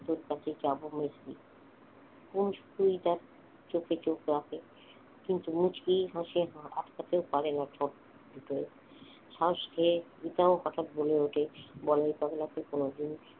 তোর কাছে যাব তুই ভাব চোখে চোখ রেখে মুচকি হাসে আটকাতে পারে না ঠোট দুটোই শ্বাসকে এটাও কথা বলে ওঠে বলাই পাগলাকে কোনদিন